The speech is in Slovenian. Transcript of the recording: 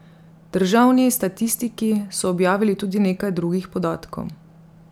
Državni statistiki so objavili tudi nekaj drugih podatkov.